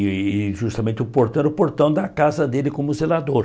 E e justamente o portão era o portão da casa dele como zelador.